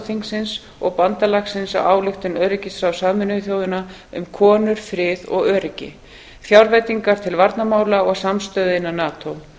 þingsins og bandalagsins á ályktun öryggisráðs sameinuðu þjóðanna um konur frið og öryggi fjárveitingar til varnarmála og samstöðu innan nato